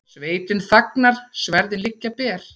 Sveitin þagnar, sverðin liggja ber.